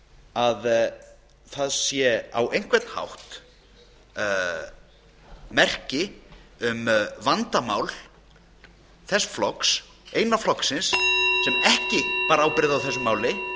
að það sé á einhvern hátt merki um vandamál sjálfstæðisflokksins eina flokksins sem ekki bar ábyrgð á þessu máli